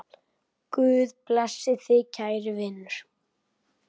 Guð blessi þig kæri vinur.